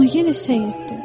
amma yenə səs itdi.